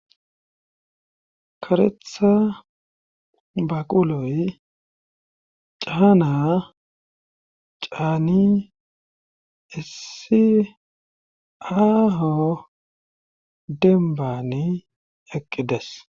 karetha baquloy caana caani issi aaho denbani eqqides